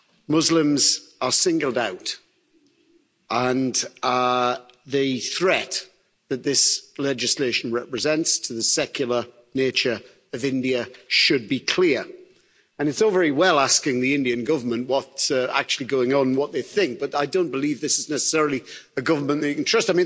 Muslims are singled out and the threat that this legislation represents to the secular nature of India should be clear, and it's all very well asking the Indian Government what's actually going on, what they think, but I don't believe this is necessarily a government they can trust.